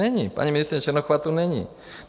Není, paní ministryně Černochová tu není.